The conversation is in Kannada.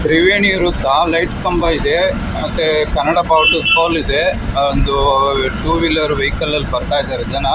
ತ್ರಿವೇಣಿಯರು ಸಹ ಲೈಟ್ ಕಂಬ ಇದೆ ಮತ್ತೆ ಕನ್ನಡ ಬಾವುಟ ಇದೆ ಒಂದು ಟೂ ವೀಲರ್ ವೆಹಿಕಲ್ಲ್ ಇದ್ದಾರೆ ಜನ.